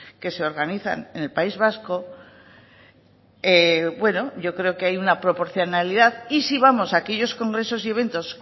que se organizan en el país vasco yo creo que hay una proporcionalidad y si vamos a aquellos congresos y eventos